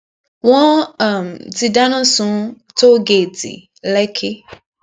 wọn um ti dáná sun tóo géètì lekki